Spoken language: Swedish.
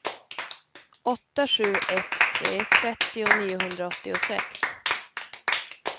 åtta sju ett tre trettio niohundraåttiosex